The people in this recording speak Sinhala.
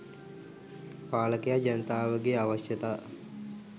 පාලකයා ජනතාවගේ අවශ්‍යතා